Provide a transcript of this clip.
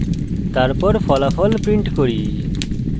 তারপর ফলাফল print করি